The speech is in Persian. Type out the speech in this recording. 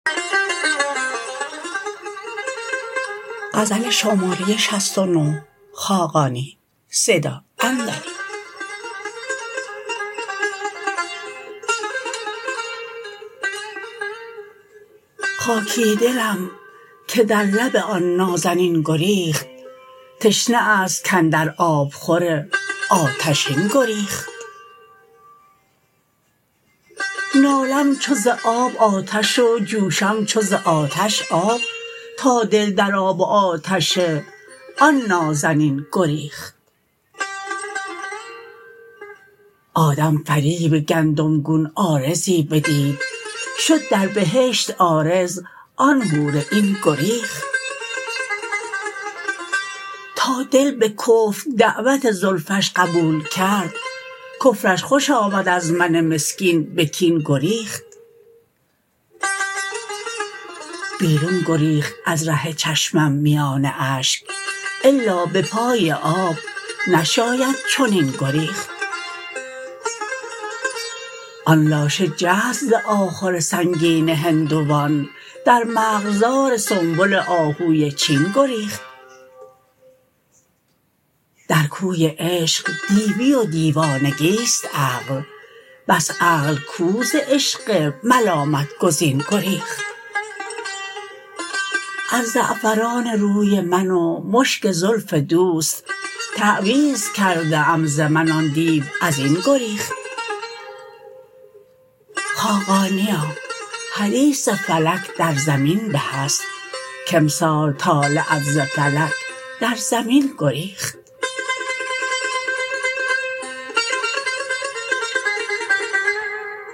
خاکی دلم که در لب آن نازنین گریخت تشنه است کاندر آب خور آتشین گریخت نالم چو ز آب آتش و جوشم چو ز آتش آب تا دل در آب و آتش آن نازنین گریخت آدم فریب گندم گون عارضی بدید شد در بهشت عارض آن حور عین گریخت تا دل به کفر دعوت زلفش قبول کرد کفرش خوش آمد از من مسکین به کین گریخت بیرون گریخت از ره چشمم میان اشک الا به پای آب نشاید چنین گریخت آن لاشه جست ز آخور سنگین هندوان در مرغزار سنبل آهوی چین گریخت در کوی عشق دیوی و دیوانگی است عقل بس عقل کو ز عشق ملامت گزین گریخت از زعفران روی من و مشک زلف دوست تعویذ کرده ام ز من آن دیو ازین گریخت خاقانیا حدیث فلک در زمین به است کامسال طالعت ز فلک در زمین گریخت